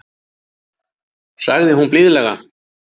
sagði hún blíðlega.